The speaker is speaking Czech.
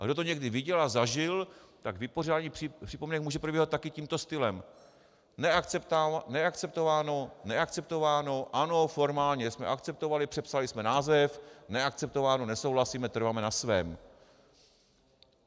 A kdo to někdy viděl a zažil, tak vypořádání připomínek může probíhat taky tímto stylem: neakceptováno, neakceptováno, ano, formálně jsme akceptovali, přepsali jsme název, neakceptováno, nesouhlasíme, trváme na svém.